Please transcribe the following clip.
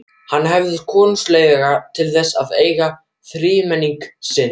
Hann hafði konungsleyfi til þess að eiga þrímenning sinn.